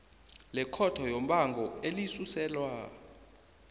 lekhotho yombango elisuselwa